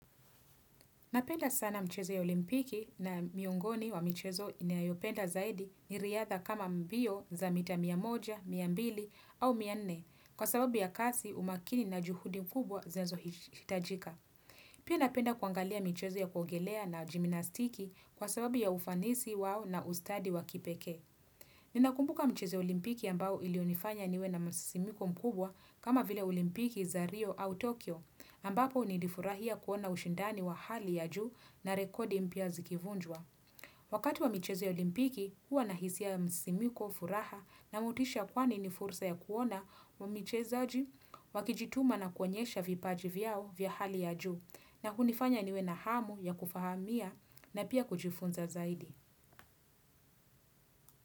Napenda sana mchezo wa olimpiki na miongoni ya michezo ninayopenda zaidi ni riadha kama mbio za mita mia moja, mia mbili au mia nne kwa sababu ya kasi umakini na juhudi kubwa zinazohitajika. Pia napenda kuangalia michezo ya kuogelea na jimnastiki kwa sababu ya ufanisi wao na ustadi wa kipekee. Ninakumbuka mchezo wa olimpiki ambao ulionifanya niwe na msisimko mkubwa kama vile olimpiki za Rio au Tokyo ambapo nilifurahia kuona ushindani wa hali ya juu na rekodi mpya zikivunjwa. Wakati wa michezo olimpiki huwa na hisia msisimko furaha na motisha kwani ni fursa ya kuona wa wachezaji wakijituma na kuonyesha vipaji vyao vya hali ya juu na kunifanya niwe na hamu ya kufahamia na pia kujifunza zaidi.